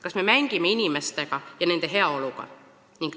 Kas me mängime inimeste ja nende heaoluga?